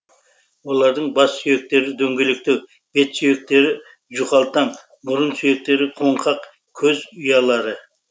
олардың бас сүйектері дөңгелектеу бет сүйектері жұқалтаң мұрын сүйектері қоңқақ көз ұялары